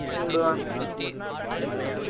leave விடுவாங்க